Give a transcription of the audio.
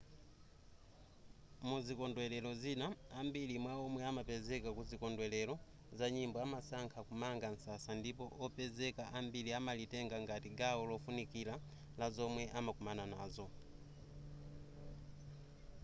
muzikondwelero zina ambiri mwa omwe amapezeka kuzikondwelero za nyimbo amasankha kumanga msasa ndipo opezeka ambiri amalitenga ngati gawo lofunikira la zomwe amakumana nazo